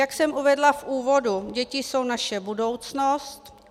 Jak jsem uvedla v úvodu, děti jsou naše budoucnost.